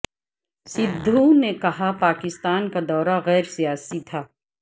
سدھو نے کہا پاکستان کا دورہ غیر سیاسی تھا